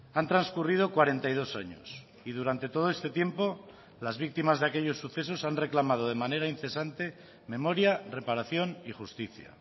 han transcurrido cuarenta y dos años y durante todo este tiempo las víctimas de aquellos sucesos han reclamado de manera incesante memoria reparación y justicia